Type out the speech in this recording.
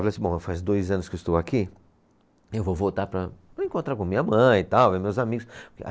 Eu falei assim, bom, já faz dois anos que eu estou aqui, eu vou voltar para, para encontrar com minha mãe e tal, ver meus amigos.